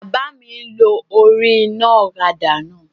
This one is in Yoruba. Bàbá mi n lo orí iná ọ̀kadà náà